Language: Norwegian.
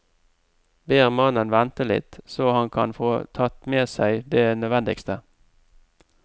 Ber mannen vente litt, så han kan få tatt med seg det nødvendigste.